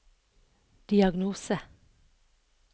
diagnose